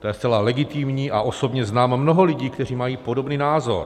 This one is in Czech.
To je zcela legitimní a osobně znám mnoho lidí, kteří mají podobný názor.